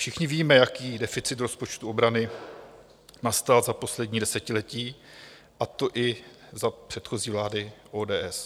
Všichni víme, jaký deficit rozpočtu obrany nastal za poslední desetiletí, a to i za předchozí vlády ODS.